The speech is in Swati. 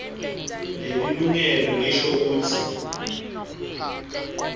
lelilungelo lisho kutsi